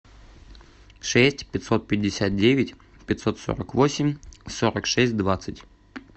шесть пятьсот пятьдесят девять пятьсот сорок восемь сорок шесть двадцать